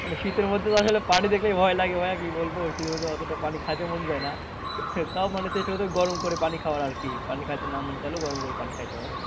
মানে শীতের মধ্যে তো আসলে পানি দেখলেই ভয় লাগে ভাইয়া কি বলবো ওই শীতের মধ্যে অতটা পানি খাইতে মন যাই না তাও মানে চেষ্টা করতে হবে গরম করে পানি খাওয়ার আরকি পানি খাইতে না মন না চাইলেও গরম করে পানি খাইতে হবে।